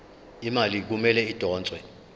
imali kumele idonswe